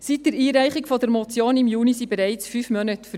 Seit der Einreichung der Motion im Juni sind bereits 5 Monate vergangen.